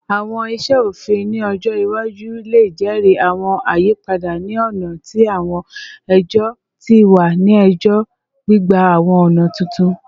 Awọn iṣe ofin ni ọjọ iwaju le jẹri awọn ayipada ni ọna ti awọn ẹjọ ti wa ni ẹjọ, gbigba awọn ọna tuntun